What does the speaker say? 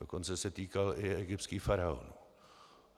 Dokonce se týkal i egyptských faraonů.